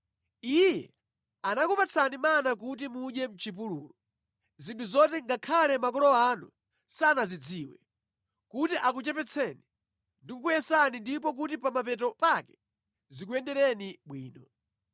Iye anakupatsani mana kuti mudye mʼchipululu, zinthu zoti ngakhale makolo anu sanazidziwe, kuti akuchepetseni ndi kukuyesani ndipo kuti pa mapeto pake zikuyendereni bwino.